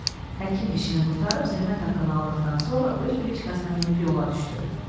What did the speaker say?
Həkim işini qurtarıb zəhmət haqqını aldıqdan sonra öz briçkasına minib yola düşdü.